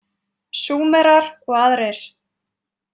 Súmerar og aðrir.